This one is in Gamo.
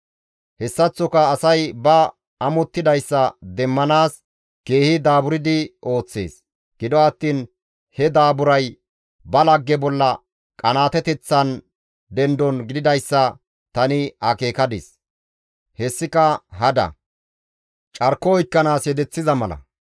Hessaththoka asay ba amottidayssa demmanaas keehi daaburdi ooththees; gido attiin he daaburay ba lagge bolla qanaateteththan dendon gididayssa tani akeekadis. Hessika hada; carko oykkanaas yedeththiza mala.